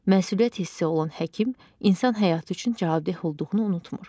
Məsuliyyət hissi olan həkim insan həyatı üçün cavabdeh olduğunu unutmır.